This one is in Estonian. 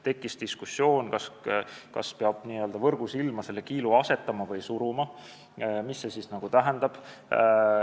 Tekkis diskussioon, kas peab selle kiilu võrgusilma asetama või suruma, et mida see nagu tähendab.